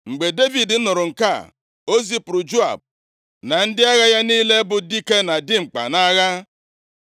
Mgbe Devid nụrụ nke a, o zipụrụ Joab na ndị agha ya niile bụ dike na dimkpa nʼagha.